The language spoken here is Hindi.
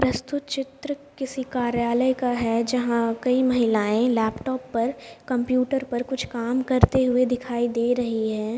प्रस्तुत चित्र किसी कार्यालय का है जहां कई महिलाएं लैपटॉप पर कंप्यूटर पर कुछ काम करते हुए दिखाई दे रही हैं।